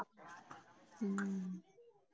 ਹੂ